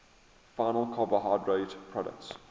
final carbohydrate products